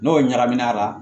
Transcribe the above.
N'o ɲagamina a la